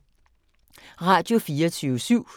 Radio24syv